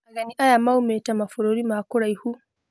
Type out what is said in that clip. Ageni aya maumĩte mabũrũri ma kũraihu